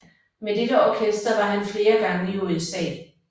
Med dette orkester var han flere gange i USA